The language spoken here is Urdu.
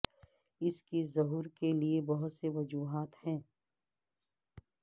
اس کی ظہور کے لئے بہت سے وجوہات ہیں